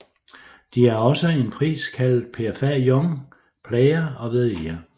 De er også en pris kaldet PFA Young Player of the Year